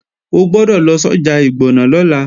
O gbọ́dọ̀ lọ sọ́jà Ìgbọ̀nà lọ́la!